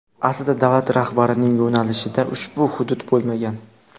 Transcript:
Aslida davlat rahbarining yo‘nalishida ushbu hudud bo‘lmagan.